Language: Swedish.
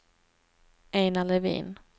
Einar Levin